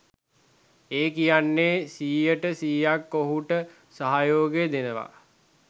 ඒ කියන්නෙ සියයට සියයක් ඔහුට සහයෝගය දෙනවා